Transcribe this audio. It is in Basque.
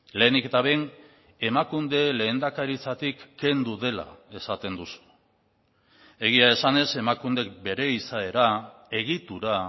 lehenik eta behin emakunde lehendakaritzatik kendu dela esaten duzu egia esanez emakunde bere izaera egitura